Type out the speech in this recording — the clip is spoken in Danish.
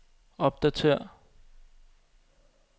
opdatér